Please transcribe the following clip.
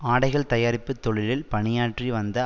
ஆடைகள் தயாரிப்பு தொழிலில் பணியாற்றி வந்த